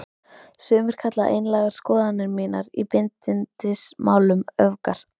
Sumir kalla einlægar skoðanir mínar í bindindismálum öfgar.